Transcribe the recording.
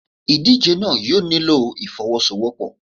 Ìdíje náà yóò nílò ìfọ́wọ́sọwọ́pọ̀.